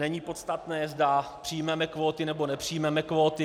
Není podstatné, zda přijmeme kvóty, nebo nepřijmeme kvóty.